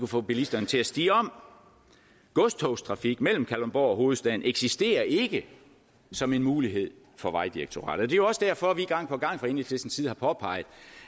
få bilisterne til at stige om godstogstrafik mellem kalundborg og hovedstaden eksisterer ikke som en mulighed for vejdirektoratet jo også derfor vi gang på gang fra enhedslistens side har påpeget